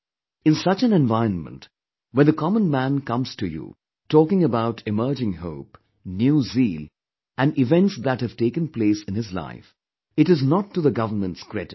In such an environment, when the common man comes to you talking about emerging hope, new zeal and events that have taken place in his life, it is not to the government's credit